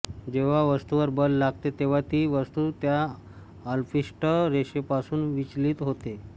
जेव्हा वस्तूवर बल लागते तेव्हा ती वस्तू त्या अल्पिष्ट रेषेपासून विचलित होते